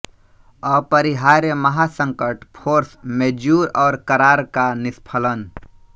अपरिहार्य महासंकट force majeure और करार का निष्फ़लन